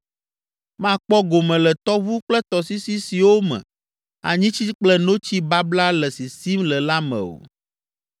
Makpɔ gome le tɔʋu kple tɔsisi siwo me anyitsi kple notsi babla le sisim le la me o.